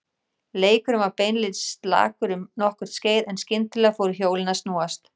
Leikurinn var beinlínis slakur um nokkurt skeið en skyndilega fóru hjólin að snúast.